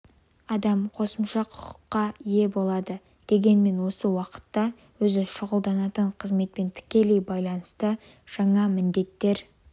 адам қосымша құқықтарға ие болады дегенмен осы уақытта өзі шұғылданатын қызметпен тікелей байланысты жаңа міндеттер